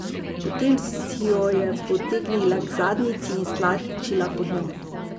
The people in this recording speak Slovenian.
Potem si jo je potegnila k zadnjici in stlačila pod njo.